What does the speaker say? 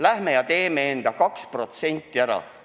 Läheme ja teeme enda 2% ära!